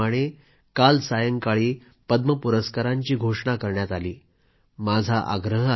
प्रत्येक वर्षाप्रमाणे काल सायंकाळी पद्म पुरस्कारांची घोषणा करण्यात आली आहे